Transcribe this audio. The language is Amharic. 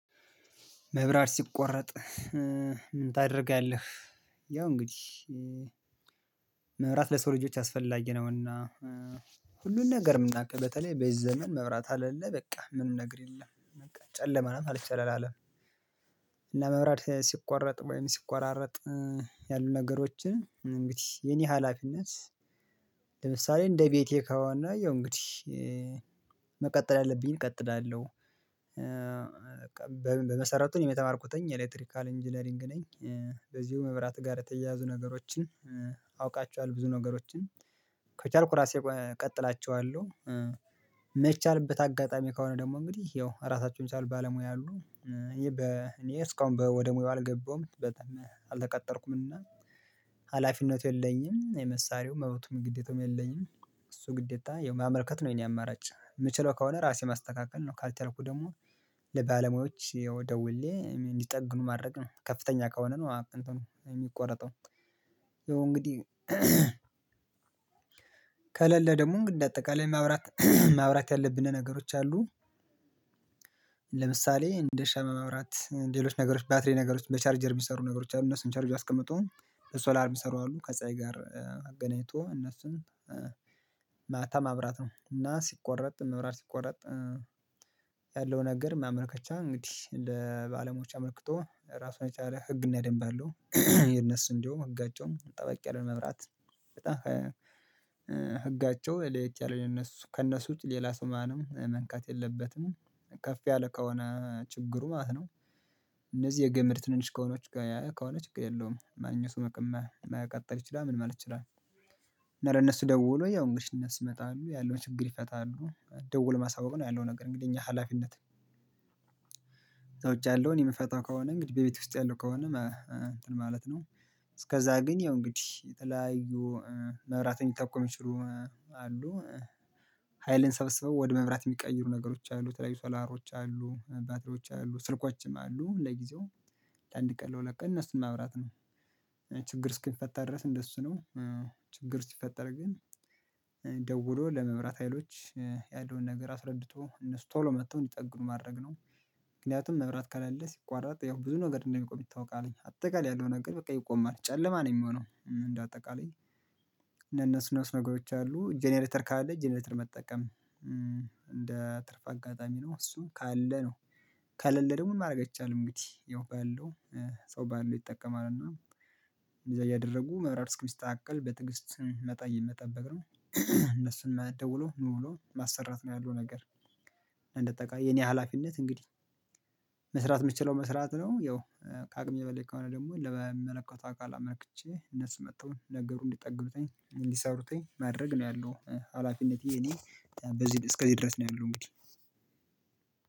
መብራት ሲቆረጥ ምን ታደርጋለህ? ያው እንግዲህ መብራት ለሰው ልጆች አስፈላጊ ነውና። ሁሉን ነገር የምናውቅ በተለይ በዚ ዘመን መብራት አለን በቃ ምን ምነግር የለም በቃ ጨለማ ናት ማልት ይቻላል አለም። ለመብራት ሲቋረጥ ወይም ሲቋራረጥ ያሉ ነገሮችን እንግዲህ የኔ ሀላፊነት። ለምሳሌ እንደ ቤቴ ከዋና ያው እንግዲህ መቀጠል ያለብኝ እቀጥላለሁ። በቃ በመሰረቱን የመተማርኩትኝ ኤሌክትሪካል ኢንጂነሪንግ ነኝ። በዚሁ መብራት ጋር የተያያዙ ነገሮችን አውቃቸዋል ብዙ ነገሮችን ከቻልኩ ራሴ እቀጥላቸዋለሁ። የማይቻልበት አጋጣሚ ከሆነ ደግሞ እንግዲህ ያው ራሳቸውን ቻል ባለሙያ አሉ። ይሄ በ እኔ እስካሁን ወደ ሙያው አልገባሁም። አልተቀጠርኩምና ሀላፊነቱ የለኝም የመሳሪው መሮቱም ግዴታውም የለኝም። እሱ ግዴታ የማመልከት ነው የኔ አማራጭ የምችለው ከሆነ ራሴ ማስተካከል ነው። ካልተረኩ ደግሞ ለባለሙያዎች ደውሌ እንዲጠግኑ ማድረግ ከፍተኛ ከሆነ ነው። የሚቆረጠው ይኸው እንግዲህ ከሌለ ደግሞ እንግዳ አጠቃላይ ማብራት ማብራት ያለብን ነገሮች አሉ። ለምሳሌ እንደ ሻማ ማብራት ሌሎች ነገሮች ባትሪ ነገሮች በቻርጀር የሚሰሩ ነገሮች አሉ እነሱን ቻርጅ አስቀምጦ በሶላር የሚሰሩ አሉ ከፀሀይ ጋር አገናኝቶ እነሱን ማታ ማብራት ነው። እና ሲቆረጥ መብራት ሲቆረጥ ያለውን ነር ማመልከቻ እንግዲህ ለባለሞያዎች አመልክቶ ራሱን የቻለ ህግና ደንብ አለው። የነሱ እንደውም ህጋቸውም ጠበቅ ያለው መብራት በጣም ህጋቸው ለየት ያለው የነሱ ከነሱ ውጪ ሌላ ሰው ማንም መንካት የለበትም። ከፍ ያለ ከሆነ ችግሩ ማለት ነው። እነዚህ የገመድ ትንሽ ከሆነው ከሆነ ችግር የለውም ማንኛውም መቅመህ የመቀጠል ይችላል ምን ማለት ይችላል? እና ለእነሱ ደውሎ ያው እንገዲህ አንሱ ይመጣሉ ያለውን ችግር ይፈታሉ ደውል ማሳወቅ ነው ያለው ነገር እንግዲህ እኛ ሀላፊነት። ያለውን የምፈታው ከሆነ እንግዲህ በቤት ውስጥ ያለው ከሆነ እንትን ማለት ነው። እስከዛ ግን ያው እንግዲህ የተለያዩ መብራትን ሊጠቅሙ ይችላሉ። ሀይልን ሰብስበው ወደ መብራት የሚቀይሩ ነገሮች አሉ ተለይ ሶላሮች አሉ ባትሪዎች አሉ ስልኮችም አሉ ለጊዜው ለአንድ ቀን ለሁለት ቀን እነሱን ማብራት ነው። ችግር እስኪፈታ ድረስ እንደሱ ነው። ችግር ሲፈጠር ግን ደውሎ ለመብራት ሀይሎች ያለውን ነገር አስረድቶ እነሱ ቶሎ መጥተው እንዲጠኑ ማድረግ ነው። ምክንያቱም መብራት ካለልህ ሲቋረጥ ያው ብዙ ነገር እንደሚቆም ይታወቃልኝ አጠቃላይ ያለው ነገር በቃ ይቆማል ጨለማ ነው የሚሆነው እንደ አጠቃላይ። ለነሱ ነሱ ነገሮች አሉ ጀነሬተር ካለ ጀነሬተር መጠቀም እንደ ትርፍ አጋጣሚ ነው እሱ ካለ ነው። ከለለ ደግሞ ምንም ማድረግ አይቻልም። እንግዲህ ያው ባለው ሰው ባለው ይጠቀማል እና እዛ እያደረጉ መብራት እስኪመስተካከል በትግስት መጣ መጠበቅ ነው እነሱን ደውሎ ምን ብሎ ማሰራት ነው ያለው ነገር። እንደተቃየ የኔ ሀላፊነት እንግዲህ መስራት የምችለው መስራት ነው። ያው ከአቅም የበለኝ ከሆነ ደግሞ ለመመለከቷ አካል አመክቼ እነሱ መጥተውኝ ነገሩን እንዲጠግቡትኝ እንዲሰሩትኝ ማድረግ ነው ያለው ሀላፊነቴ። እኔ በዚህ እስከዚህ ድረስ ነው ያለው እንግዲህ።